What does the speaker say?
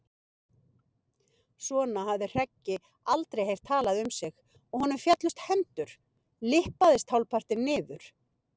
Svona hafði Hreggi aldrei heyrt talað við sig og honum féllust hendur, lyppaðist hálfpartinn niður.